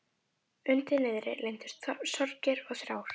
Undir niðri leyndust sorgir og þrár.